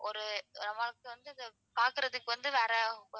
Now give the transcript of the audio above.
ஒரு,